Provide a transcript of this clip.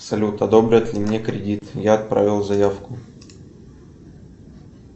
салют одобрят ли мне кредит я отправил заявку